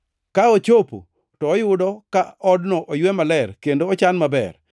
Ka ochopo, to oyudo ka odno oywe maler kendo ochan maber.